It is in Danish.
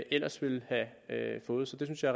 ellers ville have fået så det synes jeg